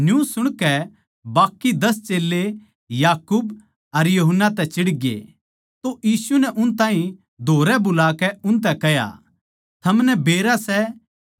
पर जिन खात्तर वा जगहां त्यार करी गई सै उन ताहीं छोड़ और किसे नै आपणी सोळी अर आपणी ओळी ओड़ बिठाणा मेरा काम कोनी